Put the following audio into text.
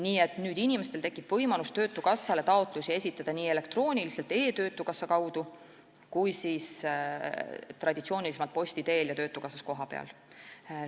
Nüüd tekib inimestel võimalus esitada töötukassale taotlusi nii elektrooniliselt e-töötukassa kaudu kui ka traditsioonilisemalt, posti teel ja töötukassas kohapeal.